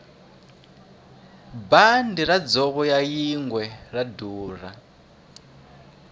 bandi ra dzovo ra yingwe ra durha